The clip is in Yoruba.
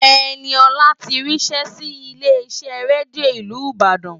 Ẹniọlá ti ríṣẹ́ sí ilé iṣẹ́ rédíò ìlú Ìbàdàn